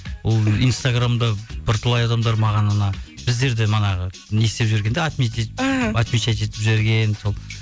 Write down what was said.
ол инстаграмда бірталай адамдар маған анау біздерде манағы не істеп жіберген де отмечать етіп жіберген сол